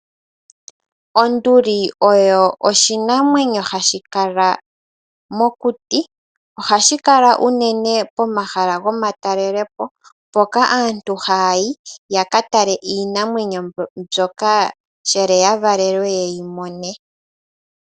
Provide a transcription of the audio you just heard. Onduli oyo oshinamwenyo hashi kala mokuti. Ohashi kala unene pomahala gomatalelopo mpoka aantu haya yi yakatale iinamwenyo mbyoka nkene ya valelwe ye yimone.